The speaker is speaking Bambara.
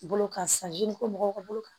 Bolo ka san yiri ko mɔgɔw ka bolo kan